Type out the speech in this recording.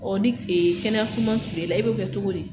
Ɔ ni kile kɛnɛya suman sirile la e b'a kɛ cogo di ?